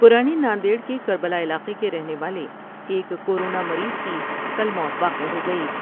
پرانے ناندیڑ کے کر بلا علاقے کے رہنے والے ایک کورونا مریض کی کل موت واقع ہوگئی ۔